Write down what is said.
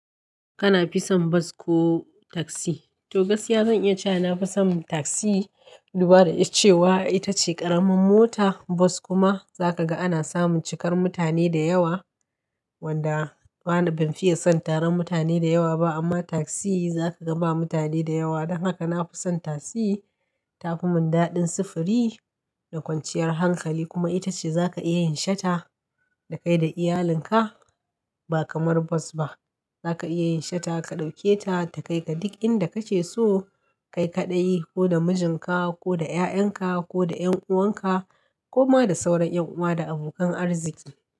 Kana fi son bas ko taksi? To gaskiya zan iya cewa nafi son taksi dubada da cewa ita ce ƙaraman mota. Bas kuma za ka ga ana samun cikar mutane da yawa, wanda bana, ban fiye son taron mutane da yawa ba. Amma taksi za ka ga ba mutane da yawa. Don haka nafi son taksi. Ta fi mun daɗin sufuri da kwanciyar hankali. Kuma ita ce za ka iya yin shata da kai da iyalinka ba kamar bas ba. Za ka iya yin shata, ka ɗauke ta da kai ka duk inda kace so. Kai kaɗai ko da mijinka ko da 'ya'yanka ko da 'yan'uwanka ko ma da sauran 'yan'uwa da abokan arziki.